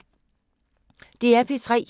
DR P3